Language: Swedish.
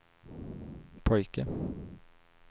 pojke